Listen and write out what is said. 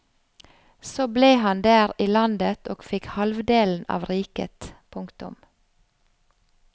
Så ble han der i landet og fikk halvdelen av riket. punktum